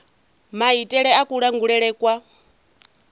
na maitele a kulangulele kwa